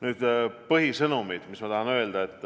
Nüüd põhisõnumid, mis ma tahan öelda.